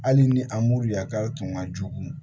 Hali ni a m'u ye a k'aw tun ka jugu